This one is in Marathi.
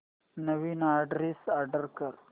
नवीन अॅड्रेस अॅड कर